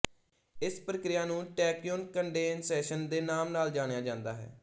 ਇਸ ਪ੍ਰਕ੍ਰਿਆ ਨੂੰ ਟੈਕਿਓਨ ਕੰਡੈੱਨਸੇਸ਼ਨ ਦੇ ਨਾਮ ਨਾਲ ਜਾਣਿਆ ਜਾਂਦਾ ਹੈ